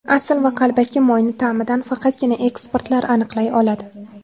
Asl va qalbaki moyni ta’midan faqatgina ekspertlar aniqlay oladi.